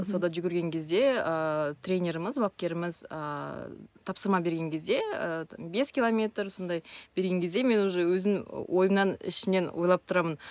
сонда жүгірген кезде ыыы тренеріміз бапкеріміз ыыы тапсырма берген кезде ыыы бес километр сондай берген кезде мен уже өзім ойымнан ішімнен ойлап тұрамын